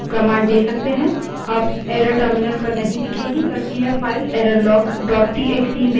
अब error terminal पर नहीं दिखेगी बल्कि यह file errorlog dot TXT file errorlog txt में लिखी होगी